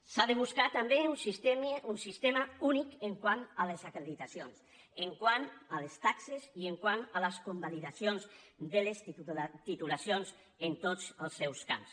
s’ha de buscar també un sistema únic quant a les acreditacions quant a les taxes i quant a les convalidacions de les titulacions en tots els seus camps